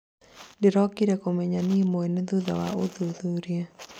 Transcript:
ndĩrokire kũmenya nie mwene thutha wa ũthuthuria